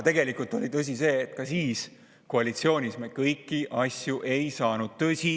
Tõsi oli see, et ka koalitsioonis me kõiki asju ei saanud.